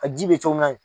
A ji bɛ cogo min na